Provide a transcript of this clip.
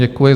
Děkuji.